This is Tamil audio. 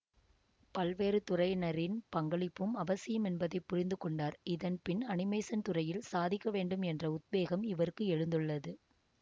பல்வேறுதுறையினரின் பங்களிப்பும் அவசியம் என்பதை புரிந்து கொண்டார் இதன்பின் அனிமேசன் துறையில் சாதிக்கவேண்டும் என்ற உத்வேகம் இவருக்கு எழுந்துள்ளது